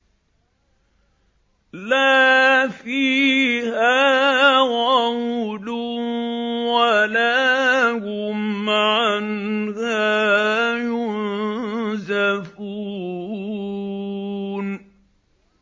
لَا فِيهَا غَوْلٌ وَلَا هُمْ عَنْهَا يُنزَفُونَ